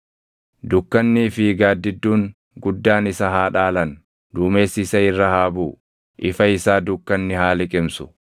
Dukkannii fi gaaddidduun guddaan isa haa dhaalan; duumessi isa irra haa buʼu; ifa isaa dukkanni haa liqimsu.